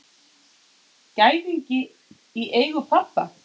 Gæðingi í eigu pabba.